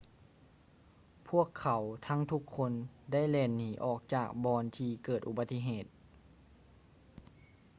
ພວກເຂົາທັງທຸກຄົນໄດ້ແລ່ນໜີອອກຈາກບ່ອນທີ່ເກີດອຸບັດຕິເຫດ